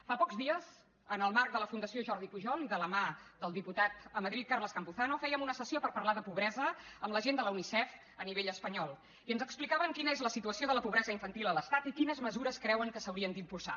fa pocs dies en el marc de la fundació jordi pujol i de la mà del diputat a madrid carles campuzano fèiem una sessió per parlar de pobresa amb la gent de la unicef a nivell espanyol i ens explicaven quina és la situació de la pobresa infantil a l’estat i quines mesures creuen que s’haurien d’impulsar